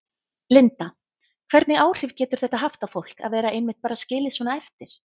Linda: Hvernig áhrif getur þetta haft á fólk að vera einmitt bara skilið svona eftir?